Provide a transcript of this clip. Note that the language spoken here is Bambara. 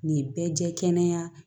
Nin bɛɛ jɛ kɛnɛ